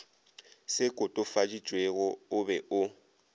se kotofaditšwego o be o